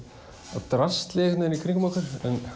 af drasli í kring um okkur